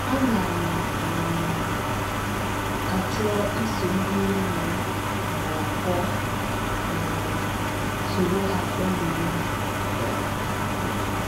Ana m um achọ iso ndị enyi m nọkọọ um, soro ha kporie ndụ. um